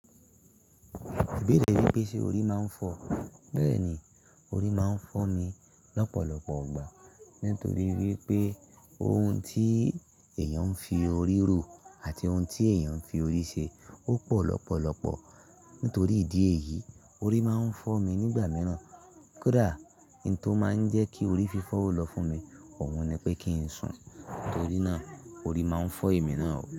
Èbè rí pé ṣe orí máa ń fọ́, bẹ́ẹ̀ ni, orí máa ń fọ́ mi lọ́pọ̀lọpọ̀ gbà. Nítorí wípé oun tí èèyàn ń fi orí rò àti oun tí èèyàn ń fi orí ṣe ó pọ̀ lọ́pọ̀lọpọ̀. Nítorí ìdí èyí, orí máa ń fọ́ mi nígbà mìíràn. Kódà nhun tó máa ń jẹ́ kí orí fi fọ́ ó lọ fún mi, òun ni pé kí ń sùn. Nítorí náà, orí máa ń fọ́ èmi náà ó.